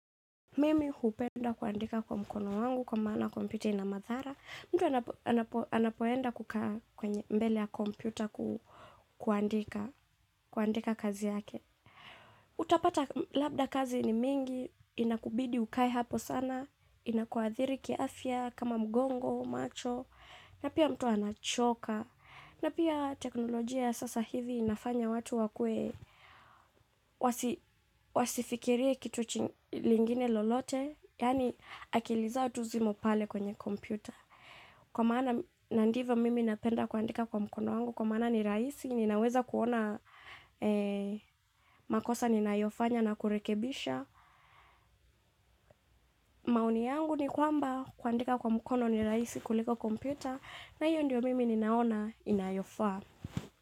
Mimi hupenda kuandika kwa mkono wangu kwa maana kompyuta ina madhara. Mtu anapoenda kukaa mbele ya kompyuta kuandika kazi yake. Utapata labda kazi ni nyingi, inakubidi ukae hapo sana, inakuadhiri kiafya kama mgongo, macho, na pia mtu anachoka. Na pia teknolojia sasa hivi inafanya watu wakue wasifikirie kitu kingine lolote, yani akili zao tu zimo pale kwenye kompyuta. Kwa maana na ndivyo mimi napenda kuandika kwa mkono wangu, kwa maana ni rahisi, ninaweza kuona makosa ni nayofanya na kurekebisha. Maoni yangu ni kwamba kuandika kwa mkono ni rahisi kuliko kompyuta, na hiyo ndio mimi ninaona inayofaa.